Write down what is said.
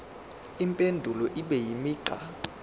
impendulo ibe imigqa